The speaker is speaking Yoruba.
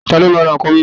Ta ló máa ra ǹkan mímu.